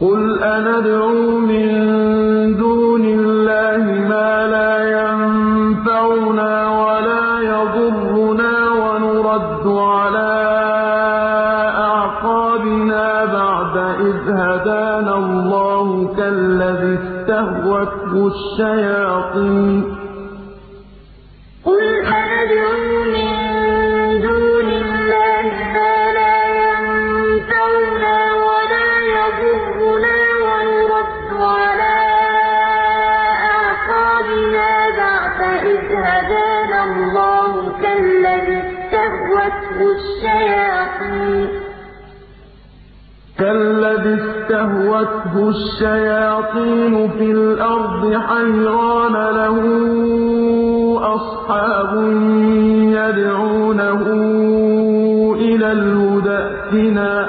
قُلْ أَنَدْعُو مِن دُونِ اللَّهِ مَا لَا يَنفَعُنَا وَلَا يَضُرُّنَا وَنُرَدُّ عَلَىٰ أَعْقَابِنَا بَعْدَ إِذْ هَدَانَا اللَّهُ كَالَّذِي اسْتَهْوَتْهُ الشَّيَاطِينُ فِي الْأَرْضِ حَيْرَانَ لَهُ أَصْحَابٌ يَدْعُونَهُ إِلَى الْهُدَى ائْتِنَا ۗ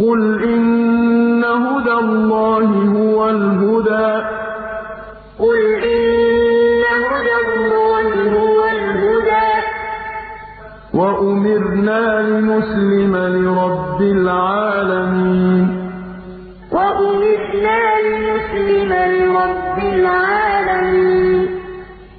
قُلْ إِنَّ هُدَى اللَّهِ هُوَ الْهُدَىٰ ۖ وَأُمِرْنَا لِنُسْلِمَ لِرَبِّ الْعَالَمِينَ قُلْ أَنَدْعُو مِن دُونِ اللَّهِ مَا لَا يَنفَعُنَا وَلَا يَضُرُّنَا وَنُرَدُّ عَلَىٰ أَعْقَابِنَا بَعْدَ إِذْ هَدَانَا اللَّهُ كَالَّذِي اسْتَهْوَتْهُ الشَّيَاطِينُ فِي الْأَرْضِ حَيْرَانَ لَهُ أَصْحَابٌ يَدْعُونَهُ إِلَى الْهُدَى ائْتِنَا ۗ قُلْ إِنَّ هُدَى اللَّهِ هُوَ الْهُدَىٰ ۖ وَأُمِرْنَا لِنُسْلِمَ لِرَبِّ الْعَالَمِينَ